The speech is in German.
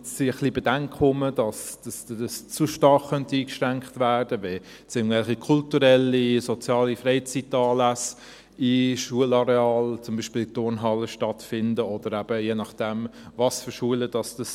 Jetzt sind ein wenig Bedenken da, dass zu stark eingeschränkt werden könnte, wenn irgendwelche kulturellen oder sozialen Freizeitanlässe in Schularealen zum Beispiel in Turnhallen stattfinden oder eben je nachdem was für Schulen es sind.